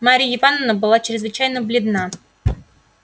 марья ивановна была чрезвычайно бледна